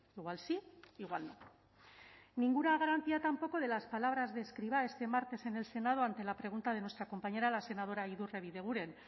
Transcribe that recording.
igual sí igual no ninguna garantía tampoco de las palabras de escrivá este martes en el senado ante la pregunta de nuestra compañera la senadora idurre bideguren